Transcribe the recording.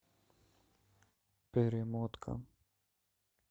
перемотка